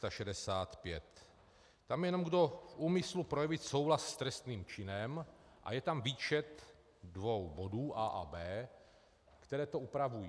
Tam je jen: Kdo v úmyslu projevit souhlas s trestným činem - a je tam výčet dvou bodů a) a b), které to upravují.